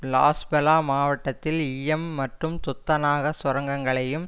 லாஸ்பெலா மாவட்டத்தில் ஈயம் மற்றும் துத்தநாக சுரங்கங்களையும்